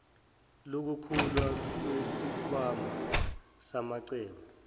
lokukhula kwesikhwama samacebo